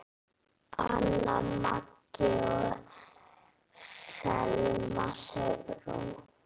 Anna Maggý og Selma Sigrún.